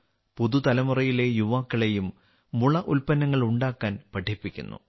പുതുതലമുറയിലെ യുവാക്കളെയും മുള ഉൽപന്നങ്ങൾ ഉണ്ടാക്കാൻ പഠിപ്പിക്കുന്നു